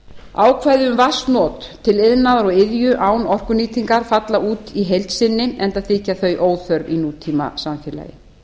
ákvæði um vatnsnot til iðnaðar og iðju án orkunýtingar falla út í heild sinni enda þykja þau óþörf í nútímasamfélagi